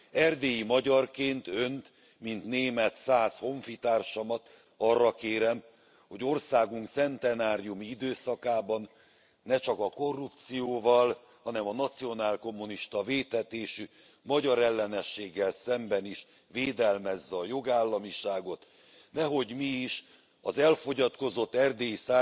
Erdélyi magyarként Önt mint német szász honfitársamat arra kérem, hogy országunk centenáriumi időszakában ne csak a korrupcióval, hanem a nacionál kommunista vétetésű magyarellenességgel szemben is védelmezze a jogállamiságot, nehogy mi is az elfogyatkozott erdélyi